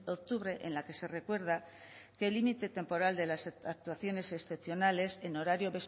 octubre en la que se recuerda que el límite temporal de las actuaciones excepcionales en horario